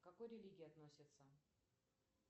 к какой религии относится